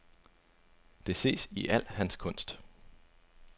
Det ses i al hans kunst.